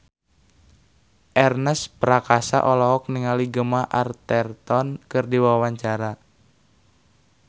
Ernest Prakasa olohok ningali Gemma Arterton keur diwawancara